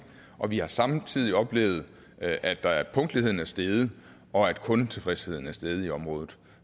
og vi har samtidig oplevet at at punktligheden er steget og at kundetilfredsheden er steget i området